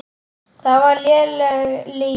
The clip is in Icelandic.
Það var léleg lygi.